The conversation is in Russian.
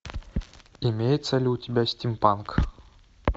имеется ли у тебя стимпанк